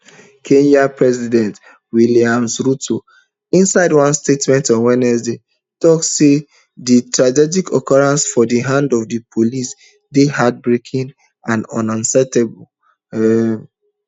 kenya president williams ruto inside one statement on wednesday tok say di tragic occurrence for di hands of di police dey heartbreaking and unacceptable um